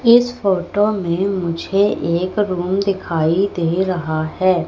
इस फोटो में मुझे एक रूम दिखाई दे रहा है।